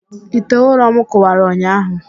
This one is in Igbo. Ite ụrọm kụwara ụnyahụ